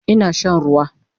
Ina shan ruwa